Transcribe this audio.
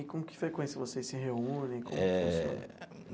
E com que frequência vocês se reúnem como que funciona? Eh.